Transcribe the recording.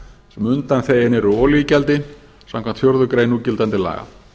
sem undanþegin eru olíugjaldi samkvæmt fjórðu grein núgildandi laga